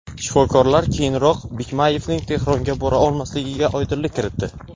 Shifokorlar keyinroq Bikmayevning Tehronga bora olmasligiga oydinlik kiritdi.